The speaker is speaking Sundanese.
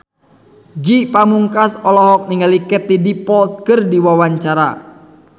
Ge Pamungkas olohok ningali Katie Dippold keur diwawancara